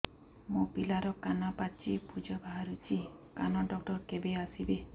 ମୋ ପିଲାର କାନ ପାଚି ପୂଜ ବାହାରୁଚି କାନ ଡକ୍ଟର କେବେ ଆସିବେ